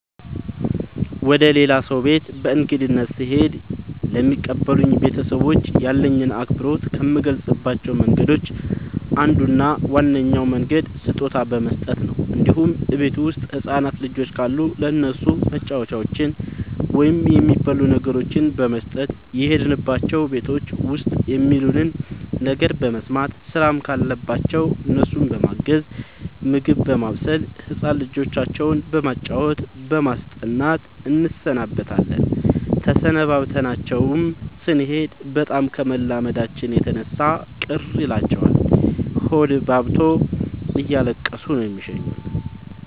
ወደ ሌላ ሰው ቤት በእንግድነት ስሄድ ለሚቀበሉኝ ቤተሰቦች ያለኝን አክብሮት ከምገልፅባቸው መንገዶች አንዱ እና ዋነኛው መንገድ ስጦታ በመስጠት ነው እንዲሁም እቤት ውስጥ ህፃናት ልጆች ካሉ ለእነሱ መጫወቻዎችን ወይም የሚበሉ ነገሮችን በመስጠት። የሄድንባቸው ቤቶች ውስጥ የሚሉንን ነገር በመስማት ስራም ካለባቸው እነሱን በማገዝ ምግብ በማብሰል ህፃን ልጆቻቸው በማጫወት በማስጠናት እንሰነብታለን ተሰናብተናቸው ስኔድ በጣም ከመላመዳችን የተነሳ ቅር ይላቸዋል ሆዳቸውባብቶ እያለቀሱ ነው የሚሸኙን።